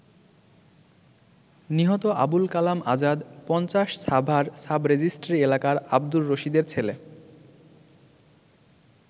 নিহত আবুল কালাম আজাদ ৫০ সাভার সাবরেজিস্ট্রি এলাকার আব্দুর রশিদের ছেলে।